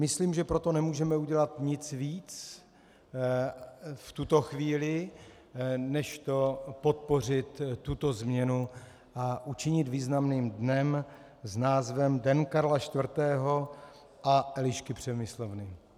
Myslím, že pro to nemůžeme udělat nic víc v tuto chvíli než podpořit tuto změnu a učinit významným dnem s názvem Den Karla IV. a Elišky Přemyslovny.